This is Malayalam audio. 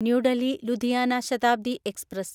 new Delhi Ludhiana Shatabdi express